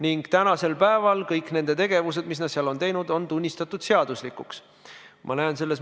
Nii maksti 2018. aastal täiendavat ravimihüvitist 134 316 inimesele kokku 10,3 miljoni euro eest.